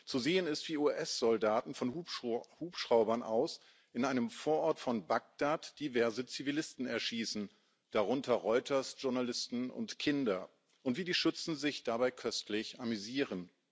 Zu sehen ist, wie US Soldaten von Hubschraubern aus in einem Vorort von Bagdad diverse Zivilisten erschießen, darunter Reuters Journalisten und Kinder, und wie die Schützen sich dabei köstlich amüsieren.